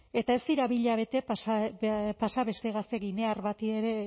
eta ez dira bi hilabete pasa beste gazte ginear bati ere